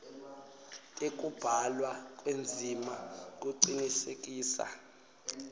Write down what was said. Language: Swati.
tekubhalwa kwendzima kucinisekisa